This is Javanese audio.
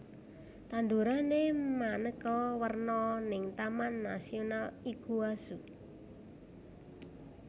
Tandurane maneka werna ning Taman Nasional Iguazu